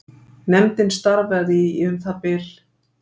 Nefndin starfaði í um það bil